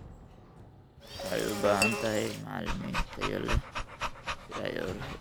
waxay u baahan tahay macalimiin tayo leh si ay u horumariyaan natiijada waxbarashada.